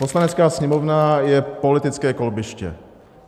Poslanecká sněmovna je politické kolbiště.